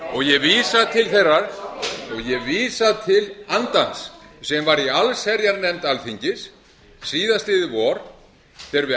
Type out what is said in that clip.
gera ég vísa til þeirrar og ég vísa til þeirrar andans sem var í allsherjarnefnd alþingis síðastliðið vor þegar við